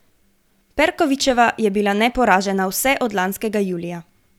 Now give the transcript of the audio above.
Perkovićeva je bila neporažena vse od lanskega julija.